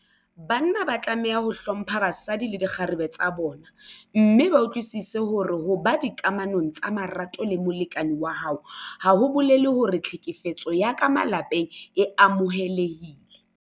Banna ba tlameha ho hlompha basadi le dikgarebe tsa bona mme ba utlwisise hore ho ba dikamanong tsa marato le molekane wa hao ha ho bolele hore tlhekefetso ya ka malapeng e amohelehile.